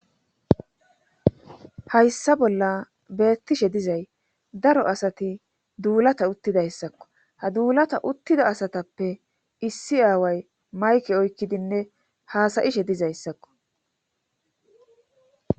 Hayssa bolla beettishe dizay daro asati duulata uttidayssakko ha duulata uttida asatappe issi aaway mayke oykkidinne haasa7ishe dizayssakko.